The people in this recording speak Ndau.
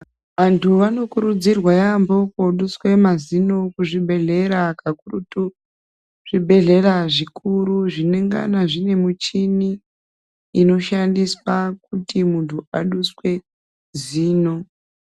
Vanthu vanokurudzirwa yaampho kooduswe mazino kuzvibhedhlera. Kakurutu zvibhedhlera zvikuru, zvinengana zvine muchhini, inoshandiswa kuti muntu aduswe zino.